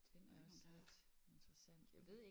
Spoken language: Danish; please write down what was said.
Der er ikke nogen her der er